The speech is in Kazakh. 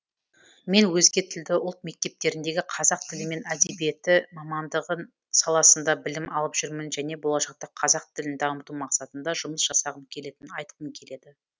мен өзге тілді ұлт мектептеріндегі қазақ тілі мен әдебиеті мамандығы саласында білім алып жүрмін және болашақта қазақ тілін дамыту мақсатында жұмыс жасағым келетінін айтқым келеді